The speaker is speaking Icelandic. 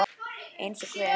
Eins og hver?